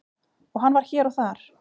og hann var hér og þar.